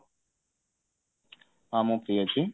ହଁ ମୁଁ free ଅଛି